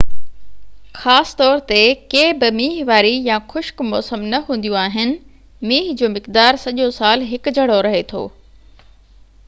خاص طور تي ڪي بہ مينهن واري يا خشڪ موسم نہ هونديون آهن مينهن جو مقدار سڄو سال هڪ جهڙو رهي ٿو